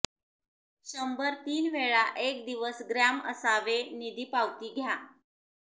शंभर तीन वेळा एक दिवस ग्रॅम असावे निधी पावती घ्या